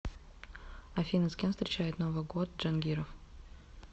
афина с кем встречает новый год джангиров